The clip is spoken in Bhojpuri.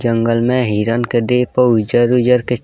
जंगल मे हिरण के देह प उजर-उजर के।